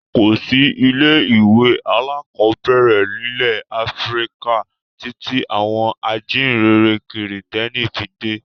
Kò sí ilé-ìwé alákọ̀ọ́bẹ̀rẹ̀ nílẹ̀ Áfíríkà títí àwọn ajíǹrere Kìrìtẹ́ẹ́nì fi dé.